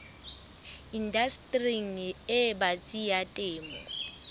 indastering e batsi ya temo